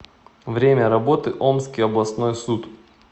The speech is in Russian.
время работы омский областной суд